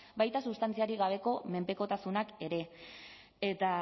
baita substantziarik gabeko menpekotasunak ere eta